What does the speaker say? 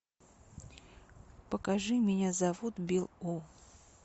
покажи меня зовут билл у